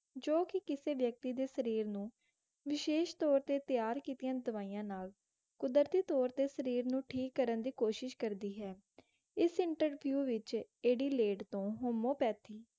ਜੋ ਕਿ ਕਿਸੇ ਵਿਅਕਤੀ ਦੇ ਸ਼ਰੀਰ ਨੂੰ ਵਿਸ਼ੇਸ਼ ਤੌਰ ਤੇ ਤਿਆਰ ਕੀਤੀਆਂ ਦਵਾਈਆਂ ਨਾਲ ਕੁਦਰਤੀ ਤੌਰ ਤੇ ਸ਼ਰੀਰ ਨੂੰ ਠੀਕ ਕਰਨ ਦੀ ਕੋਸ਼ਿਸ਼ ਕਰਦੀ ਹੈ ਇਸ interview ਵਿਚ ਐਡੀਲੇਡ ਤੋਂ homeopathy